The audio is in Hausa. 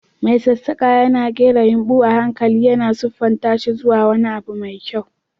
Mai sassaƙa yana ƙera yumɓu a hankali, yana siffanta shi zuwa wani abu mai kyau.